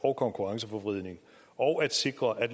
og konkurrenceforvridning og at sikre at